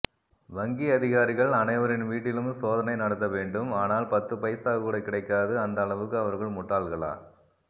வங்கி அதிகாரிகள் அனைவரின் வீட்டிலும் சோதனை நடத்தவேண்டும் ஆனால் பத்துபைசாகூட கிடைக்காது அந்த அளவுக்கு அவர்கள் முட்டாள்களா